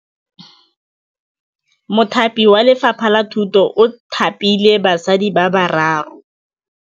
Mothapi wa Lefapha la Thutô o thapile basadi ba ba raro.